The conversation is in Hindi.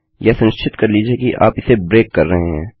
यह सुनिश्चित कर लीजिये की आप इसे ब्रेक कर रहे हैं